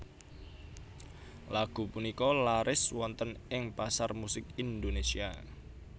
Lagu punika laris wonten ing pasar musik Indonésia